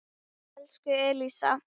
Elsku Elsa.